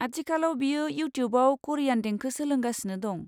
आथिखालाव बियो इउटिउबाव करियान देंखो सोलोंगासिनो दं।